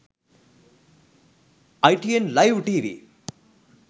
itn live tv